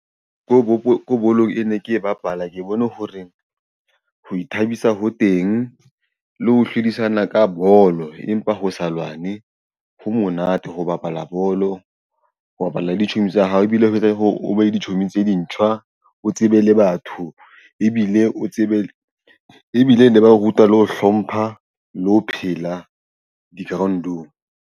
Ko bolong e ne ke e bapala. Ke bone hore ho ithabisa ho teng le ho hlodisana ka bolo, empa ho sa lwane ho monate ho bapala bolo ho bapalla ditshomi tsa hao ebile ho etsa hore o behe ditshomi tse dintjha o tsebe le batho ebile o tsebe ebile le ba ruta le ho hlompha le ho phela di ground-ong.